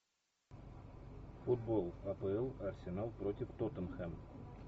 футбол апл арсенал против тоттенхэм